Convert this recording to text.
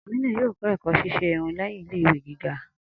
Aminu yoo kọ ẹkọ ṣiṣe irun lẹhin ile-iwe giga.